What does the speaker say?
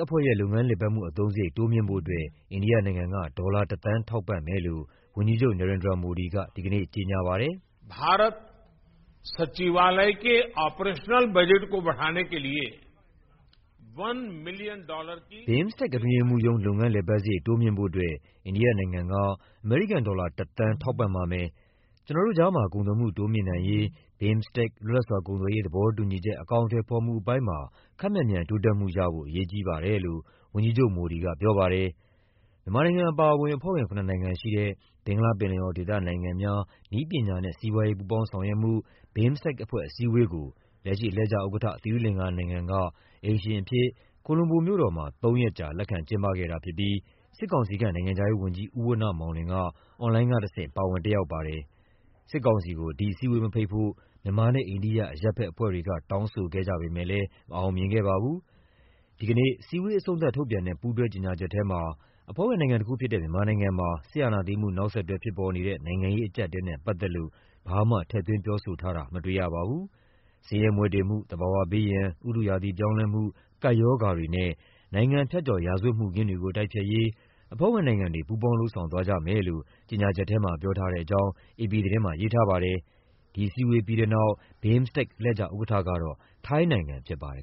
အဖွဲ့ရဲ့ လုပ်ငန်းလည်ပတ်မှု အသုံးစရိတ် တိုးမြှင့်ဖို့အတွက် အိန္ဒိယနိုင်ငံက ဒေါ်လာ ၁ သန်း ထောက်ပံ့မယ်လို့ ဝန်ကြီးချုပ် Narendra Modi က ဒီကနေ့ ကြေညာပါတယ်။ “BIMSTEC အတွင်းရေးမှူးရုံး လုပ်ငန်းလည်ပတ်စရိတ် တိုးမြှင့်ဖို့အတွက် အိန္ဒိယနိုင်ငံက အမေရိကန်ဒေါ်လာ ၁ သန်း ထောက်ပံ့ ပါမယ်။ ကျနော်တို့ကြားမှာ ကုန်သွယ်မှုတိုးမြှင့်နိုင်ရေး BIMSTEC လွတ်လပ်စွာကုန်သွယ်ရေး သဘောတူညီချက် အကောင်အထည်ဖော်မှုပိုင်းမှာ ခပ်မြန်မြန် တိုးတက်မှုရဖို့ အရေးကြီးပါတယ်” လို့ ဝန်ကြီးချုပ် Modi ကပြောပါတယ်။ မြန်မာနိုင်ငံအပါအဝင် အဖွဲ့ဝင် ၇ နိုင်ငံရှိတဲ့ ဘင်္ဂလားပင်လယ်အော်ဒေသနိုင်ငံများ နည်းပညာနဲ့ စီးပွားရေး ပူးပေါင်းဆောင်ရွက်မှု BIMSTEC အဖွဲ့အစည်းအဝေးကို လက်ရှိအလှည့်ကျဥက္ကဋ္ဌ သီရိလင်္ကာနိုင်ငံက အိမ်ရှင်အဖြစ် ကိုလွမ်ဘိုမြို့တော်မှာ သုံးရက်ကြာ လက်ခံကျင်းပခဲ့တာဖြစ်ပြီး စစ်ကောင်စီခန့် နိုင်ငံခြားရေးဝန်ကြီး ဦးဝဏ္ဏမောင်လွင်က အွန်လိုင်းကတဆင့် ပါဝင်တက်ရောက်ပါ တယ်။ စစ်ကောင်စီကို ဒီအစည်းအဝေးမဖိတ်ဖို့ မြန်မာနဲ့အိန္ဒိယ အရပ်ဘက်အဖွဲ့တွေက တောင်းဆိုခဲ့ကြပေမယ့်လည်း မအောင် မြင်ခဲ့ပါဘူး။ ဒီကနေ့ အစည်းအဝေးအဆုံးသတ် ထုတ်ပြန်တဲ့ ပူးတွဲကြေညာချက်ထဲမှာ အဖွဲ့ဝင်နိုင်ငံတခုဖြစ်တဲ့ မြန်မာနိုင်ငံမှာ စစ်အာဏာသိမ်း မှုနောက်ဆက်တွဲဖြစ်ပေါ်နေတဲ့ နိုင်ငံရေးအကျပ်အတည်းနဲ့ ပတ်သက်လို့ ဘာမှ ထည့်သွင်းပြောဆိုထားတာ မတွေ့ရပါဘူး။ ဆင်းရဲမွဲတေမှု၊ သဘာဝဘေးရန်၊ ဥတုရာသီပြောင်းလဲမှု၊ ကပ်ရောဂါတွေနဲ့ နိုင်ငံဖြတ်ကျော် ရာဇဝတ်မှုခင်းတွေကို တိုက်ဖျက်ရေး အဖွဲ့ဝင်နိုင်ငံတွေ ပူးပေါင်း လုပ်ဆောင်သွားကြမယ်လို့ ကြေညာချက်ထဲမှာ ပြောထားတဲ့အကြောင်း အေပီသတင်းမှာ ရေးထားပါတယ်။ ဒီအစည်းအဝေးပြီးတဲ့နောက် အလှည့်ကျဥက္ကဋ္ဌကတော့ ထိုင်းနိုင်ငံဖြစ်ပါတယ်